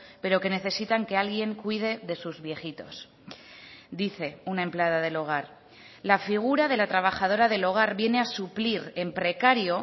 pero que necesitan que alguien cuide de sus viejitos dice una empleada del hogar la figura de la trabajadora del hogar viene a suplir en precario